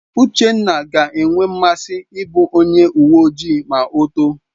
Uchenna ga-enwe nmasị ịbụ onye uwe ojii ma o too.